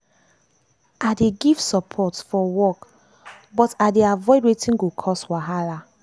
i dey give support forwork but i dey avoid wetin go cause wahala.